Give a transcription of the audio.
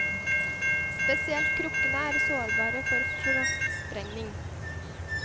Spesielt krukkene er sårbare for frostsprengning.